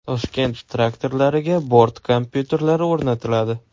Toshkent traktorlariga bort kompyuterlari o‘rnatiladi.